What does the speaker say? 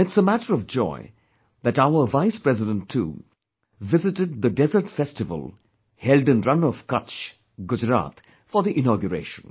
And it's a matter of joy that our Vice President too visited the Desert Festival held in Rann of Kutch, Gujarat for the inauguration